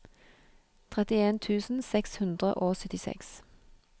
trettien tusen seks hundre og syttiseks